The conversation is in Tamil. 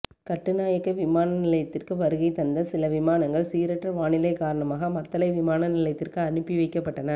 கட்டுநாயக்க விமான நிலையத்திற்கு வருகை தந்த சில விமானங்கள் சீரற்ற வானிலை காரணமாக மத்தளை விமான நிலையத்திற்கு அனுப்பி வைக்கப்பட்டன